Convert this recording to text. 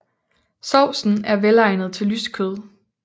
Sovsen er velegnet til lyst kød